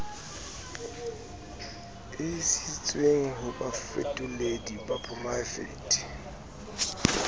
isitsweng ho bafetoledi ba poraefete